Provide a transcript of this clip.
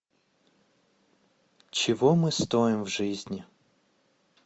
чего мы стоим в жизни